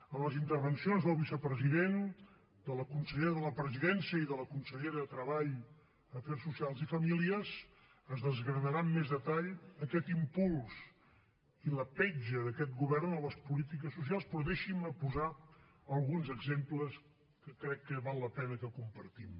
en les intervencions del vicepresident de la consellera de la presidència i de la consellera de treball afers socials i famílies es desgranarà amb més detall aquest impuls i la petja d’aquest govern en les polítiques socials però deixin me posar alguns exemples que crec que val la pena que compartim